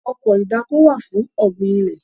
Ọkọ̀ ìdáko wà fún ọ̀gbìn ilẹ̀